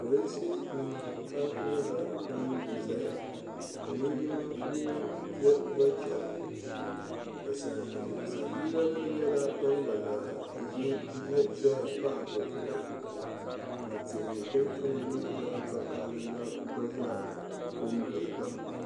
pirinsi nima ata nyɛla ban n-zaya ka linjima yino gba chana ka sabiila nima nyɛla ban gba zaa ʒe ya pahi bɛ zuɣu ka tihi din kama nyɛ zaɣ' vokahili la gba zaa kɔ n-gili ba.